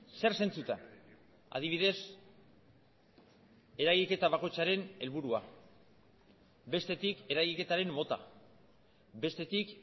zer zentzutan adibidez eragiketa bakoitzaren helburua bestetik eragiketaren mota bestetik